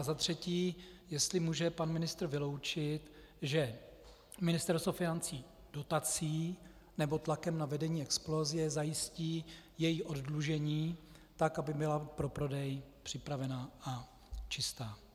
A za třetí, jestli může pan ministr vyloučit, že Ministerstvo financí dotací nebo tlakem na vedení Explosie zajistí její oddlužení tak, aby byla pro prodej připravena a čistá.